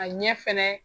A ɲɛ fɛnɛ